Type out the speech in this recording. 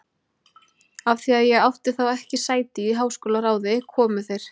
Af því að ég átti þá ekki sæti í háskólaráði, komu þeir